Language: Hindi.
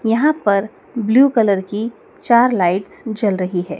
यहां पर ब्लू कलर की चार लाइट्स जल रही है।